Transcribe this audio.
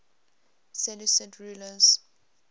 seleucid rulers